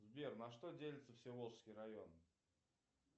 сбер на что делится всеволожский район